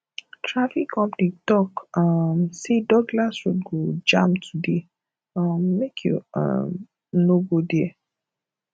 traffic update tok um say douglas road go jam today um make you um no go there